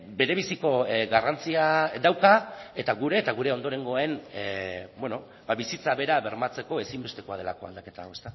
berebiziko garrantzia dauka eta gure eta gure ondorengoen bizitza bera bermatzeko ezinbestekoa delako aldaketa hau